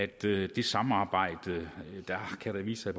det samarbejde kan der vise sig